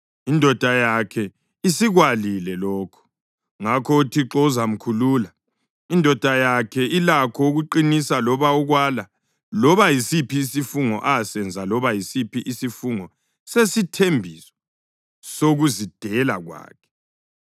Indoda yakhe ilakho ukuqinisa loba ukwala loba yisiphi isifungo azasenza loba yisiphi isifungo sesithembiso sokuzidela kwakhe.